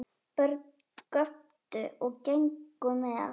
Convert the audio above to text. Börn göptu og gengu með.